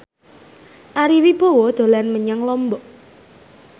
Ari Wibowo dolan menyang Lombok